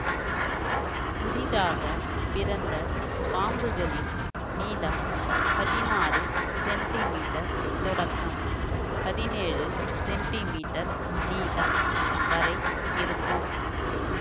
புதிதாக பிறந்த பாம்புகளின் நீளம் பதினாறு சென்டிமீட்டர் தொடக்கம் பதினேழு சென்டிமீட்டர் நீளம் வரை இருக்கும்